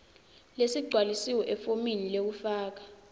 lesigcwalisiwe efomini lekufaka